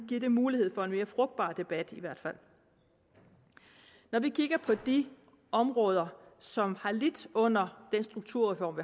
give en mulighed for en mere frugtbar debat i hvert fald når vi kigger på de områder som har lidt under den strukturreform